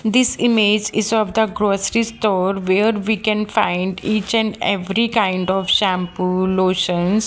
this image is of the grocery store where we can find each and every kind of shampoo lotions.